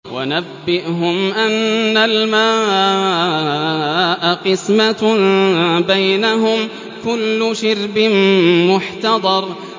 وَنَبِّئْهُمْ أَنَّ الْمَاءَ قِسْمَةٌ بَيْنَهُمْ ۖ كُلُّ شِرْبٍ مُّحْتَضَرٌ